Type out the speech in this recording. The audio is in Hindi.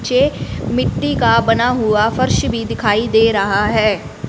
नीचे मिट्टी का बना हुआ फर्श भी दिखाई दे रहा है।